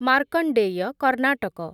Markandeya, Karnataka